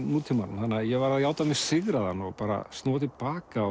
nútímanum þannig að ég varð að játa mig sigraðan og snúa til baka